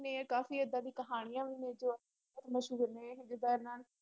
ਵੀ ਨੇ ਕਾਫ਼ੀ ਏਦਾਂ ਦੀ ਕਹਾਣੀਆਂ ਵੀ ਨੇ ਜੋ ਬਹੁਤ ਮਸ਼ਹੂਰ ਨੇ ਜਿੱਦਾਂ ਇਹਨਾਂ